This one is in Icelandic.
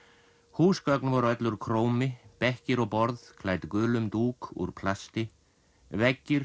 húsgögn voru öll úr bekkir og borð klædd gulum dúk úr plasti veggir